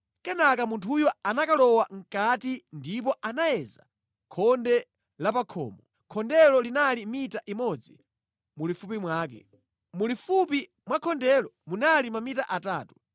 Kenaka munthuyo anakalowa mʼkati ndipo anayeza khonde la pa khomo; khondelo linali mita imodzi mulifupi mwake. Mulifupi mwa khondelo munali mamita atatu.